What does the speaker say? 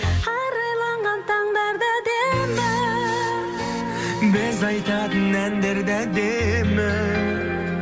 арайланған таңдар да әдемі біз айтатын әндер де әдемі